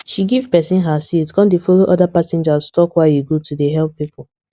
she give pesin her seat con dey follow other passengers talk why e good to dey help people